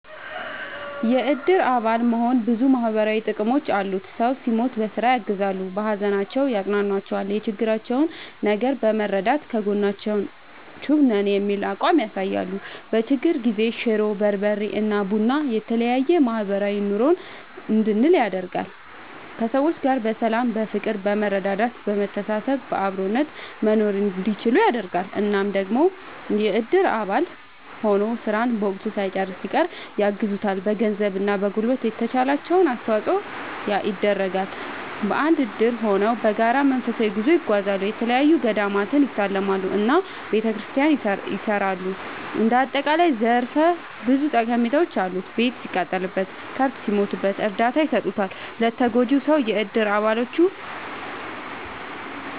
የእድር አባል መሆን ብዙ ማህበራዊ ጥቅሞች አሉት ሰው ሲሞት በስራ ያግዛሉ። በሀዘናቸው ያፅኗኗቸዋል የቸገራቸውን ነገር በመርዳት ከጎናችሁ ነን የሚል አቋም ያሳያሉ። በችግር ጊዜ ሽሮ፣ በርበሬ እና ቡና የተለያዬ ማህበራዊ ኑሮን እንድንል ያደርጋል። ከሰዎች ጋር በሰላም በፍቅር በመረዳዳት በመተሳሰብ በአብሮነት መኖርእንዲችሉ ያደርጋል። እና ደግሞ የእድር አባል ሆኖ ስራን በወቅቱ ሳይጨርስ ሲቀር ያግዙታል በገንዘብ እና በጉልበት የተቻላቸውን አስተዋፅዖ ይደረጋል። በአንድ እድር ሆነው በጋራ መንፈሳዊ ጉዞ ይጓዛሉ፣ የተለያዪ ገዳማትን ይሳለማሉ እና ቤተክርስቲያን ያሰራሉ እንደ አጠቃላይ ዘርፈ ብዙ ጠቀሜታዎች አሉት። ቤት ሲቃጠልበት፣ ከብት ሲሞትበት እርዳታ ይሰጡታል ለተጎጂው ሰው የእድር አባሎቹ።…ተጨማሪ ይመልከቱ